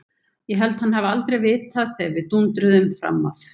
Ég held hann hafi aldrei vitað þegar við dúndruðum fram af.